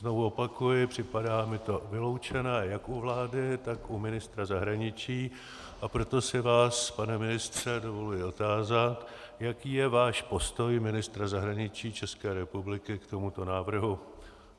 Znovu opakuji, připadá mi to vyloučené jak u vlády, tak u ministra zahraničí, a proto se vás, pane ministře, dovoluji otázat, jaký je váš postoj ministra zahraničí České republiky k tomuto návrhu.